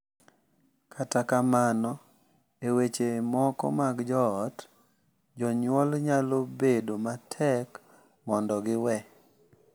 Kata kamano, e weche moko mag joot, jonyuol nyalo bedo matek mondo giwe,